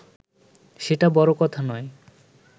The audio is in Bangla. সেটা বড় কথা নয়